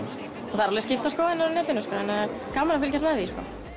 það eru skiptar skoðanir á netinu en gaman að fylgjast með því